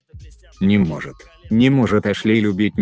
не может не может эшли любить